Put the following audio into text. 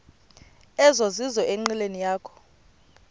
ezizizo enqileni yakho